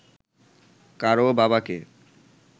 কারও বাবাকে